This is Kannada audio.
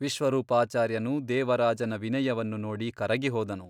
ವಿಶ್ವರೂಪಾಚಾರ್ಯನು ದೇವರಾಜನ ವಿನಯವನ್ನು ನೋಡಿ ಕರಗಿ ಹೋದನು.